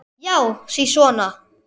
Já, sisona!